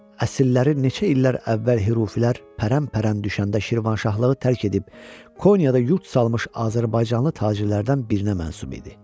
Əsilləri neçə illər əvvəl Hürufilər pərən-pərən düşəndə Şirvanşahlığı tərk edib Konyada yurd salmış azərbaycanlı tacirlərdən birinə məxsus idi.